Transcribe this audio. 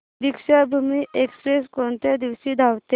Deekshabhoomi express कोणत्या दिवशी धावते